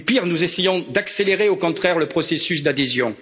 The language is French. Et pire, nous essayons d'accélérer, au contraire, le processus d'adhésion.